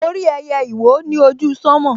Mo rí ẹyẹ ìwó ni ojú sánmọ̀